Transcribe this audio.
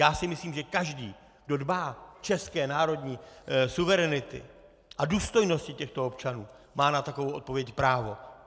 Já si myslím, že každý, kdo dbá české národní suverenity a důstojnosti těchto občanů, má na takovou odpověď právo.